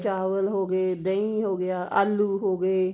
ਚਾਵਲ ਹੋਗੇ ਦਹੀਂ ਹੋਗਿਆਂ ਆਲੂ ਹੋਗੇ